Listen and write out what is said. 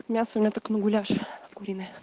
мясо у меня так на гуляш куриный